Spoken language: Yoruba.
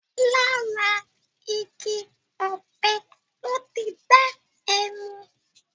Làrá igi òpé lò ti n dá èmú